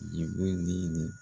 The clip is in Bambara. Nin ko in